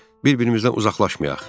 Bir-birimizdən uzaqlaşmayaq.